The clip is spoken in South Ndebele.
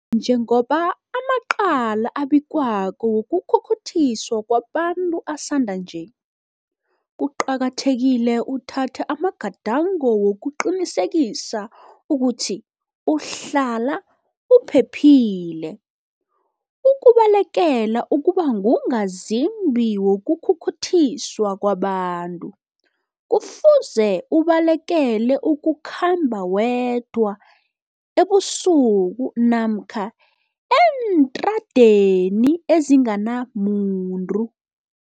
Njengoba amacala abikwako wokukhukhuthiswa kwabantu asanda nje, kuqakathekile uthathe amagadango wokuqinisekisa ukuthi uhlala uphephile. Ukubalekela ukuba ngungazimbi wokukhukhuthiswa kwabantu, kufuze ubalekele ukukhamba wedwa, ebusuku, namkha eentradeni ezinganamuntu.